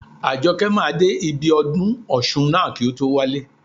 Àjọkẹ́ máa dé ibi ọdún ọ̀ṣun ná kí o tó wálé.